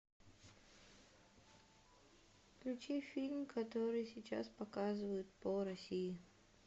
включи фильм который сейчас показывают по россии